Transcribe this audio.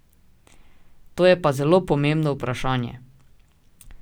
To je pa zelo pomembno vprašanje.